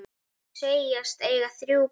Þau segjast eiga þrjú börn.